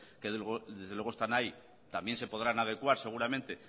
que desde luego están ahí también se podrán adecuar seguramente